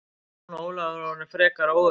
Jón Ólafur var orðinn frekar óöruggur.